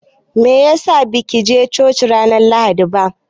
Meyasa ba kije coci ranar Lahadi ba?